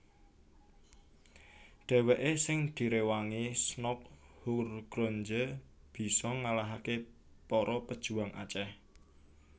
Dhèwèké sing diréwangi Snouck Hurgronje bisa ngalahaké para pejuang Aceh